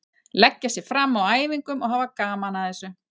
Leggja sig fram á æfingum og hafa gaman að þessu.